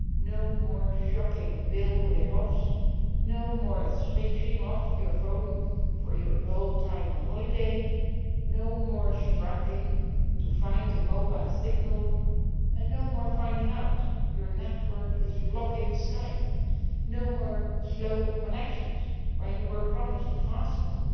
No more shocking bill rip offs, no more switching off your phone for your whole time on holiday, no more struggling to find a mobile signal and no more finding out your network is blocking Skype. No more slow connections when you were promised a fast one.